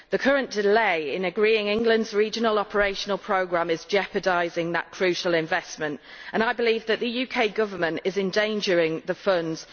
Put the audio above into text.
The current delay in agreeing England's regional operational programme is jeopardising that crucial investment, and I believe that the UK Government is endangering the funds.